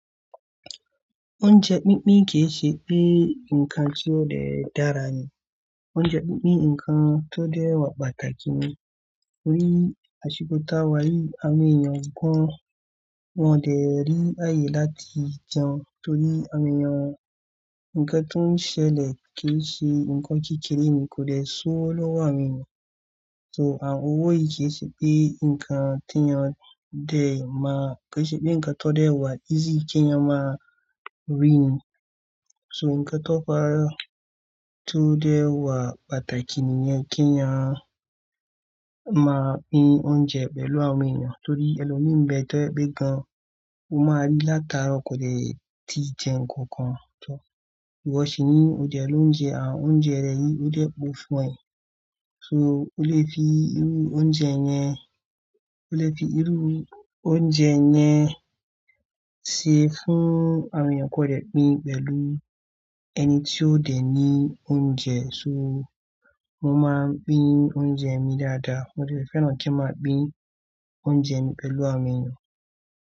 Oúnjẹ pínpín kì í ṣe pé ǹkan tí ó dẹ dára nì. Oúnjẹ pínpín ǹkan tó dẹ wà pàtàkì nì. Torí àṣìkò tá a wá rí àwọn èèyàn gan, wọn dẹ rí ààyè láti jẹun torí àwọn èèyàn ǹkan tó n ṣẹlẹ̀ kì í ṣe ǹkan kékeré nì, kò dẹ ṣó ọ lọ́wọ́ àwọn èèyàn. So àwọn owó yìí kì í ṣe pé ǹkan tí ẹyaan dẹ máa-- kì í ṣe pé ǹkan tó dẹ wà easy kí ẹ̀yán máa rí ni. So ǹkan tó fàá, tó dẹ wà pàtàkì nì yẹn kí á máa pín oúnjẹ pẹ̀lú àwọn èèyàn torí ẹlo nbẹ tẹ́ẹ́ gbẹ́ gan, ó máa rí látara kò dẹ ti jẹun kankan tán. Wọ́n sì ní òde ló ń jẹ àwọn oúnjẹ rẹ yìí ó dẹ pokù fún ẹ. So o lè fi irú oúnjẹ yẹn, o lè fi irú oúnjẹ yẹn ṣe fún àwọn èèyàn kò dẹ pín pẹ̀lú ẹni tí ó dẹ ní oúnjẹ. So mo máa ń pín oúnjẹ mi dáadáa, mo dẹ fẹ́ràn kí n máa pín oúnjẹ mi pẹ̀lú àwọn èèyàn.